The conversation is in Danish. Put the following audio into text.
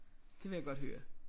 Det vil jeg godt høre